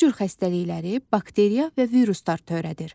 Bu cür xəstəlikləri bakteriya və viruslar törədir.